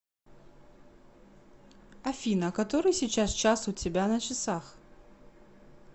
афина который сейчас час у тебя на часах